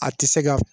A tɛ se ka